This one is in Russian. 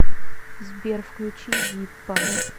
сбер включи зиппо